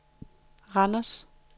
Randers